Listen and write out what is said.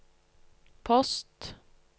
post